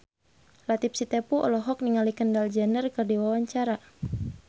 Latief Sitepu olohok ningali Kendall Jenner keur diwawancara